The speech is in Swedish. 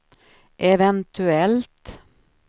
eventuellt